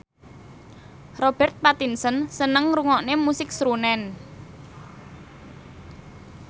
Robert Pattinson seneng ngrungokne musik srunen